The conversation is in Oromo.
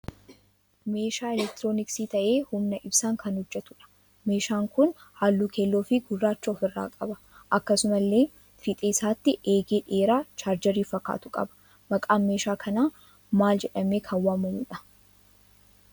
Meeshaa 'elektirooniksii' tahee humna ibsaan kan hojjetuudha. Meeshaan kun halluu keelloo fi gurraacha ofirraa qaba. Akkasumallee fiixee isaatti eegee dheeraa 'chaargeerii' fakkaatu qaba. Maqaan meeshaa kanaa maal jedhamee kan waamamuudha?